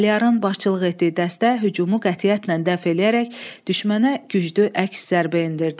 Əliyarın başçılıq etdiyi dəstə hücumu qətiyyətlə dəf eləyərək düşmənə güclü əks zərbə endirdi.